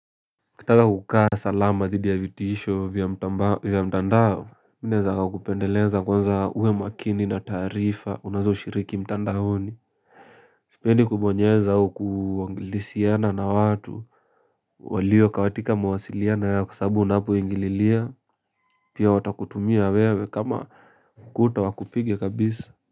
Kitaka kukaa salama dhidi ya vitisho vya mtandao. Mi naeza kakupendeleza kwanza uwe makini na taarifa unazo shiriki mtandaoni. Sipendi kubonyeza au kuangilisiana na watu. Walio katika mawasiliano yao kwasababu unapoingililia. Pia watakutumia wewe kama ukuta wakupige kabisa.